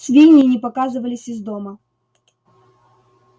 свиньи не показывались из дома